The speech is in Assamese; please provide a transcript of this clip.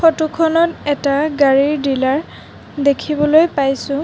ফটোখনত এটা গাড়ীৰ ডিলাৰ দেখিবলৈ পাইছোঁ।